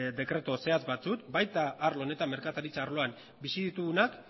dekretu zehatz batzuk baita arlo honetan merkataritza arloan bizi ditugunak